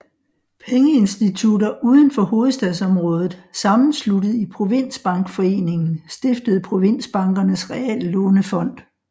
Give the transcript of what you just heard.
Pengeinstitutter uden for hovedstadsområdet sammensluttet i Provinsbankforeningen stiftede Provinsbankernes Reallånefond